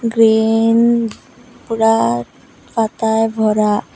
Green পুরা পাতায় ভরা।